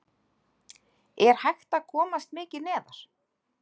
Er hægt að komast mikið neðar??